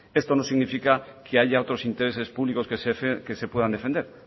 esto no significa que haya otros intereses públicos que se puedan defender